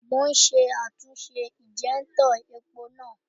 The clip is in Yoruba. Mò ún ṣe àtúnṣe ìnjẹ́úntọ̀ epo náà